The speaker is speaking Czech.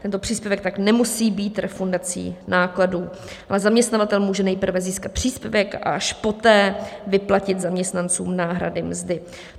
Tento příspěvek tak nemusí být refundací nákladů, ale zaměstnavatel může nejprve získat příspěvek a až poté vyplatit zaměstnancům náhrady mzdy.